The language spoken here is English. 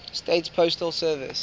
states postal service